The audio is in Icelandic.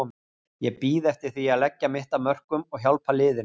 Ég bíð eftir því að leggja mitt af mörkum og hjálpa liðinu.